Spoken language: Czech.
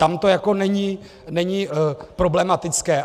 Tam to jako není problematické.